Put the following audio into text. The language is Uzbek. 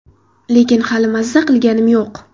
Lekin hali mazza qilganim yo‘q.